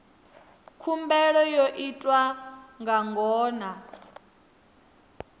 khumbelo yo itwa nga ngona